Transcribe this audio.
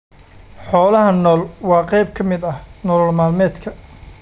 Xoolaha nool waa qayb ka mid ah nolol maalmeedka.